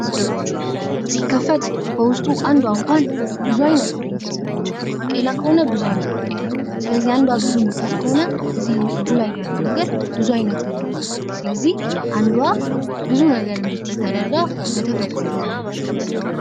ሲከፈት በውስጡ አንዷ እንኳን ብዙ አይነት ፍሬ ትይዛለች። ባቄላ ከሆነ ብዙ አይነት ባቄላ ስለዚህ አንዷ ብዙ የምትይዝ ከሆነ እዚህ እጁ ላይ ያለው ነገር ብዙ አይነት እንዲያመርት ስለዚህ ፤አንዷ ብዙ ነገር እንዴት አድርጋ በተፈጥሮ ተሰራጭቷል።